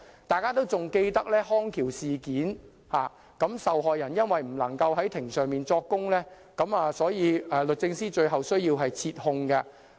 大家仍然記得"康橋之家"事件，由於受害人不能在庭上作供，所以律政司最後必須撤控。